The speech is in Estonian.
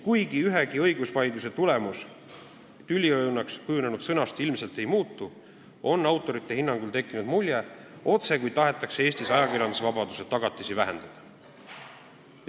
Kuigi ühegi õigusvaidluse tulemus tüliõunaks kujunenud sõna tõttu ilmselt ei muutu, on autorite hinnangul tekkinud mulje, otsekui tahetaks Eestis ajakirjandusvabaduse tagatisi vähendada.